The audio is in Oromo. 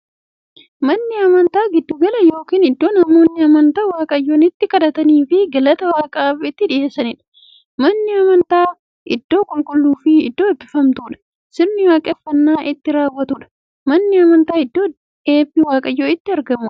Manni amantaa giddu gala yookiin iddoo namoonni amantaa waaqayyoon itti kadhataniifii galata waaqaaf itti dhiyeessaniidha. Manni amantaa iddoo qulqulluufi iddoo eebbifamtuu, sirna waaqeffannaa itti raawwatuudha. Manni amantaa iddoo eebbi waaqayyoo itti argamuudha.